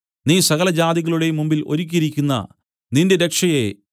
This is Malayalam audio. നീ സകലജാതികളുടെയും മുമ്പിൽ ഒരുക്കിയിരിക്കുന്ന നിന്റെ രക്ഷയെ